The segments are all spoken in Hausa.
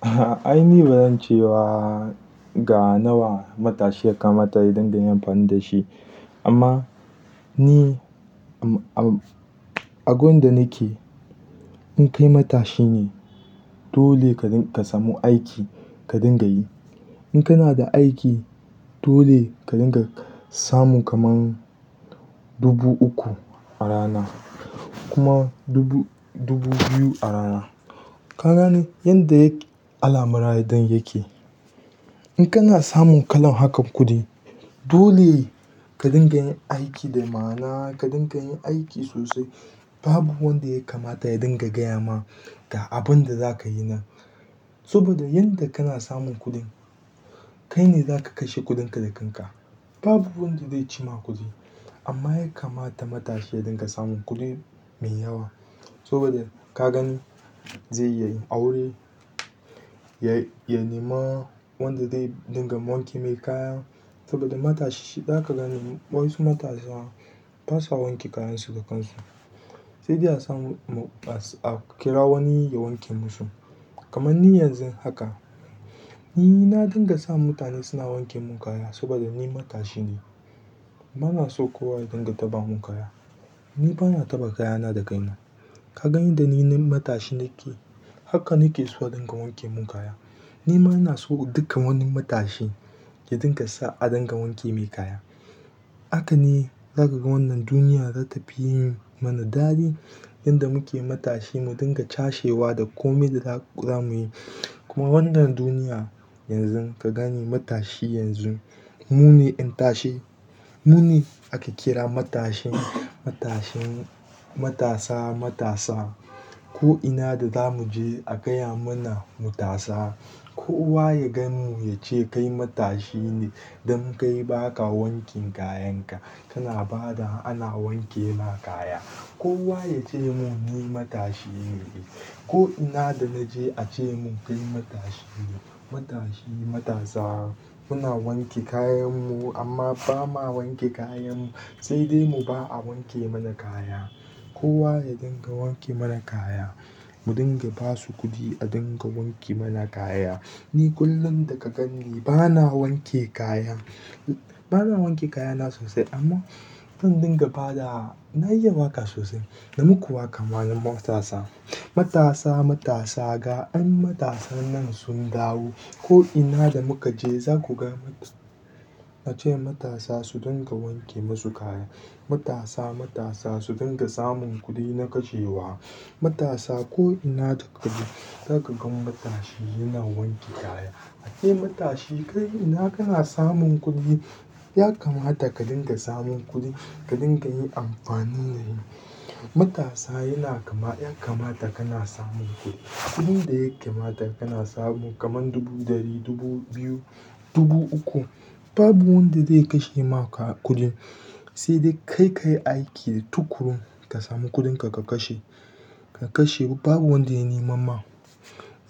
Ahh ai ni badan ce ba ga nawa matashi yakamata yadinga yin amfani dashi amma ni a gun da nake in kai matashi ne dole ding. Ka samu aiki ka dinga yi. In kana da aiki dole ka dinga samun kaman dubu uku a rana kuma dubu, dubu biyu a rana. Ka gane yanda alamar dai ya ke. In kana samun kalan haka kuɗi, dole ka dinga yin aiki da ma'ana ka dinga yin aiki sosai. Babu wanda ya kamata ya dinga gaya ma ga abun da za ka yi nan. Saboda yanda kana samun kuɗin, kai ne za ka kashe kuɗinka da kan ka. Babu wanda de cima kuɗi. Amma ya kamata matashi ya dinga samun kuɗi mai yawa. Saboda ka gan zai iyayin aure, ya nema wanda zai dinga wanke mai kaya. Saboda matashi za ka gani wasu matasa basa wanke kayansu da kansu. Sai dai a samu a kira wani ya wanke musu. Kaman ni yanzun haka, ni na dinga sa mutane suna wanke mun kaya saboda ni matashi ne. Bana so kowa ya dinga taɓa mun kaya. Ni bana taɓa kayana da kaina. Ka gani da ni matashi nake haka nake so a dinga wanke mun kaya. Ni ma ina so duka wani matashi ya dinga sa a dinga wanke mai kaya. Haka ne za ka ga wannan duniya za ta fi yi mana dali. Yanda muke matashi mu dinga cashewa da komai da za mu yi. Kuma wannan duniya yanzun ka gani matashi yanzun, mu ne ƴan tashe, mu ne ake kira matashin, matashin matasa, matasa. Ko ina da za mu je a gaya mana mu tasa. Kowa ya gan mu ya ce kai matashi ne don kai baka wankin kayan ka. Kana ba da ana wanke ma kaya. Kowa ya ce mun ni matashi ne. Ko ina da naje a ce mun kai matashi ne. Matashi matasa muna wanke kayanmu amma bama wanke kayan. Sai dai mu ba a wanke mana kaya. Kowa ya dinga wanke mana kaya. Mu dinga basu kuɗi a dinga wanke mana kaya, ni kullum da ka ganni bana wanke kaya, bana wanke kaya na sosai amman zan dinga bada. Na iya waƙa sosai dan kuwa kamar matasa. Matasa, matasa ga an matasan nan sun dawo. Ko ina da muka je za ku gan mu a ce wa matasa su dinga wanke musu kaya. Matasa matasa su dinga samun kuɗi na kashewa. Matasa ko ina ka tafi za ka gan matashi yana wanke kaya. A ce matashi kai ina kana samun kuɗi? Ya kamata ka dinga samun kuɗi ka dinga yi amfani da shi. Matasa yana kama, ya kamata kana samun kuɗi. Kuɗin da yake kamata kana samun kaman dubu ɗari, dubu biyu, dubu uku. Babu wanda zai kashe ma ku kuɗin. Sai dai kai kayi aiki tuƙuru ka samu kuɗinka ka kashe. Ka kashe babu wanda ya nemam ma.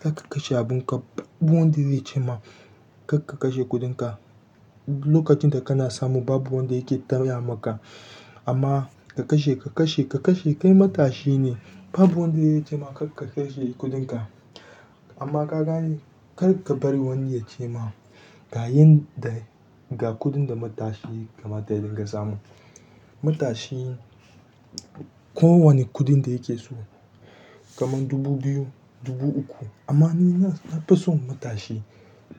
Za ka kashe abun ka babu wanda zai ce ma kar ka kashe kuɗinka. Lokacin da kana samun babu wanda yake taya maka. Amma ka kashe, ka kashe, ka kashe kai matashi ne. Babu wanda zai ce ma kar ka kashe kuɗinka. Amma ka gane kar ka bari wani ya ce ma ga yin da, ga kuɗin da matashi kamata ya dinga samu. Matashi ko wane kuɗin da yake so kaman dubu biyu, dubu uku. Amma ni na fi son matashi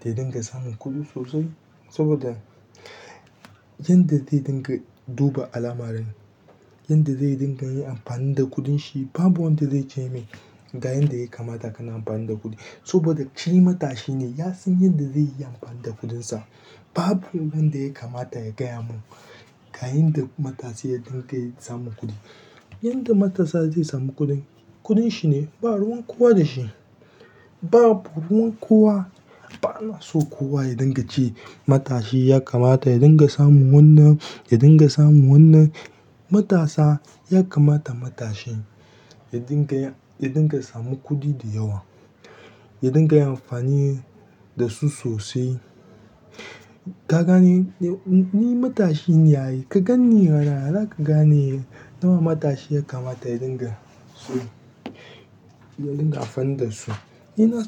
ya dinga samun kuɗi sosai saboda yanda zai dinga duba alamarin, yanda zai dinga yi amfani da kuɗin shi. Babu wanda zai ce mai ga yanda yakamata kana amfani da kuɗi. Saboda shi matashi ne ya san yanda zai yi amfani da kuɗinsa. Babu wurin da yakamata ya gaya mun ga yanda matashi ya dinga samun kuɗi. Yanda matasa zai samu kuɗin, kuɗin shi ne ba ruwan kowa da shi. Babu ruwan kowa, bana so kowa ya dinga ce matashi ya kamata ya dinga samun wannan, ya dinga samun wannan. Matasa ya kamata matashi ya dinga ya, ya dinga samu kuɗi da yawa, ya dinga yi amfani da su sosai. Ka gane ni matashi ne a yi. Ka gan ni yaa. Za ka gane nawa matashi ya kamata ya dinga so ya dinga amfani da su. Ni na so.